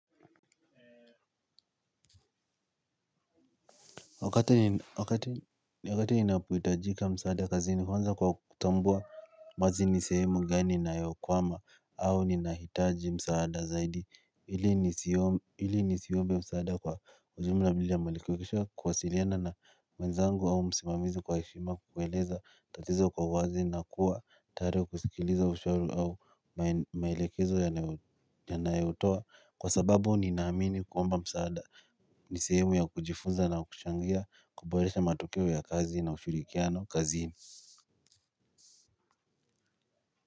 Wakati wakati ninapoitajika msaada kazi ni huanza kwa kutambua mazi nisehemu gani ina yokwama au nina hitaji msaada zaidi ili nisio hili nisiombe msaada kwa ujumla mdili ya malikuwekishwa kuwasiliana na mwenzangu au msimamizi kwa ishima kuweleza tatizo kwa uwazi na kuwa tayari kusikiliza ushahuri au maelekezo yanayotoa kwa sababu ninaamini kuomba msaada. Ni sehemu ya kujifunza na kuchangia kuboresha matokeo ya kazi na ushirikiano kazini.